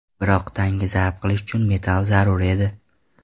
Biroq tanga zarb qilish uchun metall zarur edi.